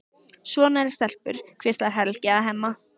Svona eru stelpur, hvíslar Helgi að Hemma.